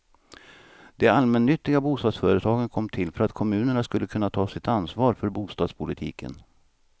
De allmännyttiga bostadsföretagen kom till för att kommunerna skulle kunna ta sitt ansvar för bostadspolitiken.